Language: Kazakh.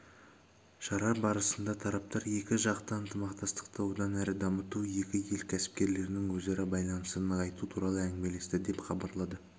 шара барысында тараптар екі жақты ынтымақтастықты одан әрі дамыту екі ел кәсіпкерлерінің өзара байланысын нығайту туралы әңгімелесті деп хабарлады